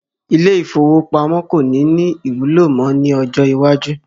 Ilé ìfowópamó kò ní ní ìwúlò mọ ni ọjọ́ iwájú